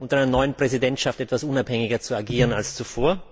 unter der neuen Präsidentschaft etwas unabhängiger zu agieren als zuvor.